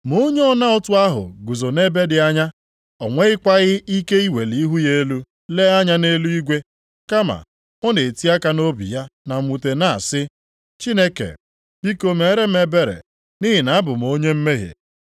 “Ma onye ọna ụtụ ahụ guzo nʼebe dị anya, o nwekwaghị ike iweli ihu ya elu lee anya nʼeluigwe. Kama, ọ na-eti aka nʼobi ya na mwute na-asị, ‘Chineke, biko mere m ebere nʼihi na abụ m onye mmehie.’